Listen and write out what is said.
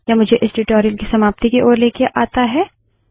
यह मुझे इस ट्यूटोरियल की समाप्ति की ओर लाता है